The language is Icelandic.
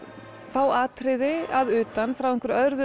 fá atriði að utan frá